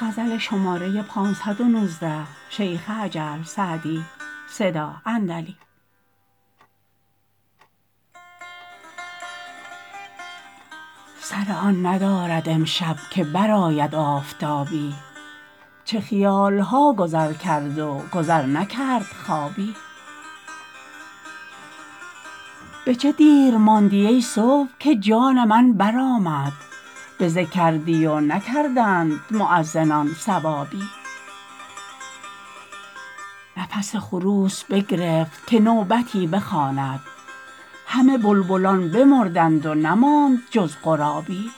سر آن ندارد امشب که برآید آفتابی چه خیال ها گذر کرد و گذر نکرد خوابی به چه دیر ماندی ای صبح که جان من برآمد بزه کردی و نکردند مؤذنان ثوابی نفس خروس بگرفت که نوبتی بخواند همه بلبلان بمردند و نماند جز غرابی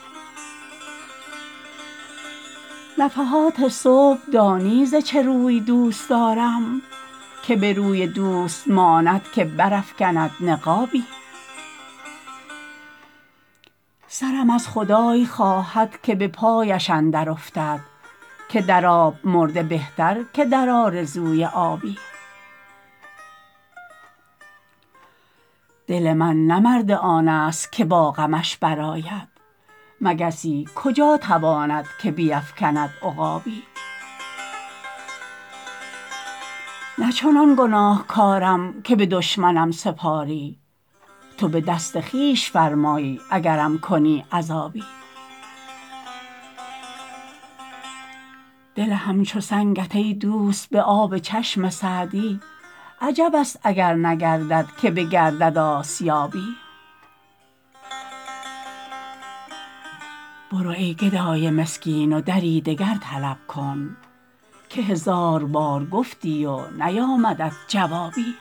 نفحات صبح دانی ز چه روی دوست دارم که به روی دوست ماند که برافکند نقابی سرم از خدای خواهد که به پایش اندر افتد که در آب مرده بهتر که در آرزوی آبی دل من نه مرد آن ست که با غمش برآید مگسی کجا تواند که بیفکند عقابی نه چنان گناهکارم که به دشمنم سپاری تو به دست خویش فرمای اگرم کنی عذابی دل همچو سنگت ای دوست به آب چشم سعدی عجب است اگر نگردد که بگردد آسیابی برو ای گدای مسکین و دری دگر طلب کن که هزار بار گفتی و نیامدت جوابی